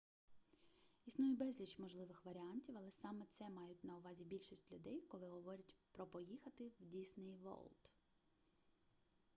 існує безліч можливих варіантів але саме це мають на увазі більшість людей коли говорять про поїхати в дісней ворлд